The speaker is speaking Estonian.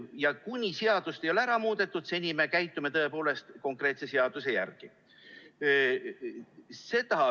Ja kuni seadust ei ole ära muudetud, seni me käitume tõepoolest konkreetse seaduse järgi.